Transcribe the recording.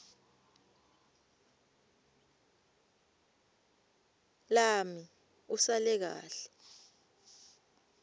lami usale kahle